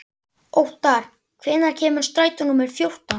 Óttar, hvenær kemur strætó númer fjórtán?